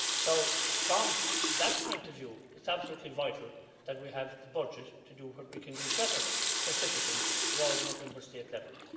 So, from that point of view, it's absolutely vital that we have the budget to do what we can do better for citizens than we can at Member State level.